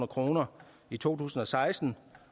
kroner i to tusind og seksten